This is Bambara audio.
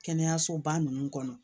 Kɛnɛyasoba ninnu kɔnɔ